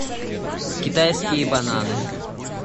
китайские бананы